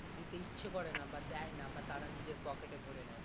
দিতে ইচ্ছে করে না বা দেয় না বা তারা নিজের পকেটে ভরে নাই